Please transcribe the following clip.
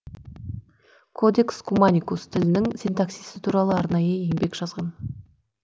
кодекс куманикус тілінің синтаксисі туралы арнайы еңбекжазған